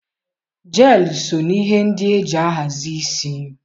Jeelụ so na ihe ndị e ji ahazi isi